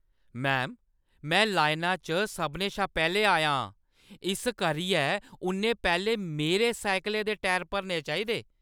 Ma'am, में लाइना च सभनें शा पैह्‌लें आई आं, इस करियै उʼन्नै पैह्‌लें मेरे साइकलै दे टायर भरने चाहिदे।